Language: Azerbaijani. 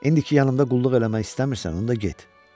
İndi ki yanımda qulluq eləmək istəmirsən, onda get.